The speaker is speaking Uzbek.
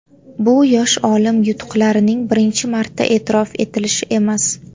Bu yosh olim yutuqlarining birinchi marta e’tirof etilishi emas.